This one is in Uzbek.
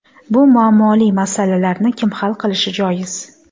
Bu muammoli masalalarni kim hal qilishi joiz?